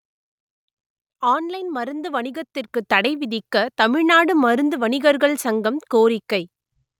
online மருந்து வணிகத்திற்கு தடை விதிக்க தமிழ்நாடு மருந்து வணிகர்கள் சங்கம் கோரிக்கை